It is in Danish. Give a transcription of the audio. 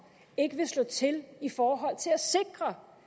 ikke vil slå til i forhold til at sikre